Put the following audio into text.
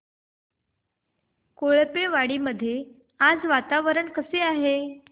कोळपेवाडी मध्ये आज वातावरण कसे आहे